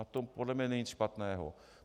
Na tom podle mě není nic špatného.